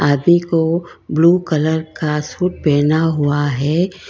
आदमी को blue colour का सूट पहेना हुआ है।